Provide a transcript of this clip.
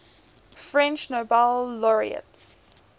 french nobel laureates